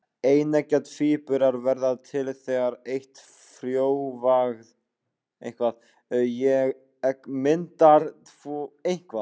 Eineggja tvíburar verða til þegar eitt frjóvgað egg myndar tvo fósturvísa.